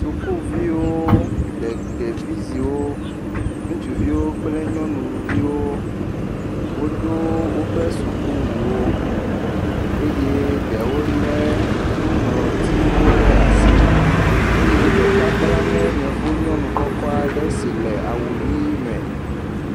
Sukuviwo, ɖe ɖeviziwo. Ŋutsuviwo kple nyɔnuviwo, wodo woƒe sukuwuwo eye ɖewo lé nuŋlɔtiwo ɖe asi. Eye ɖeka kpla nɛ Yevu nyɔnu kɔkɔ aɖe si le awu ʋii me.